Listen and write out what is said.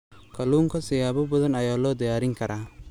Kalluunka siyaabo badan ayaa loo diyaarin karaa.